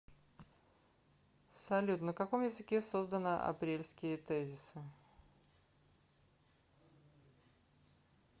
салют на каком языке создано апрельские тезисы